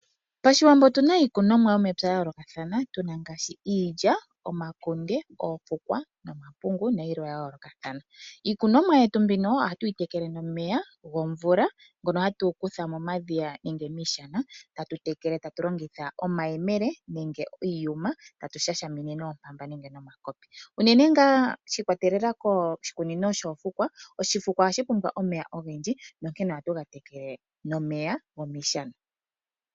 Pashiwambo otu na iikunomwa yomepya ya yoolokathana, tu na ngaashi iilya, omakunde, oofukwa nomapungu nayilwe ya yoolokathana. Iikunomwa yetu mbino ohatu yi tekele nomeya gomvula ngono hatu kutha momadhiya nenge miishana, tatu tekele, ta tu longitha omayemele nenge iiyuma, ta tu shashamine noompanda nenge nomakopi. Unene ngaa shi ikwatelela koshikunino shoofukwa, oshifukwa ohashi pumbwa omeya ogendji nonkene ohatu ga tekele nomeya gomiishana.